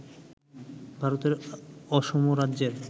ভারতের অসম রাজ্যের